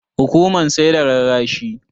Hukuman sai da rarrashi.